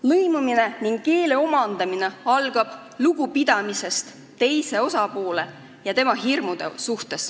Lõimumine ning keele omandamine algab lugupidamisest teise osapoole ja tema hirmude vastu.